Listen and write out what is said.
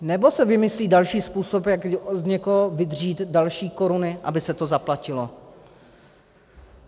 Nebo se vymyslí další způsob, jak z někoho vydřít další koruny, aby se to zaplatilo?